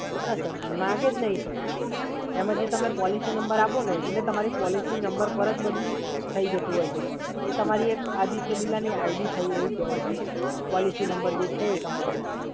ના સર, માંગે જ નહીં સાહેબ. એમાં જે તમે પોલિસી નંબર આપોને એ તમારી પોલિસી નંબર પર જ બધુ થઈ જતું હોય છે, સર. પોલિસી નંબર જે છે એ તમારી આદિત્ય બિરલાની આઈડી થઈ એવું કહેવાય, સર.